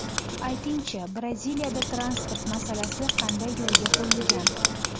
Ayting-chi, Braziliyada transport masalasi qanday yo‘lga qo‘yilgan?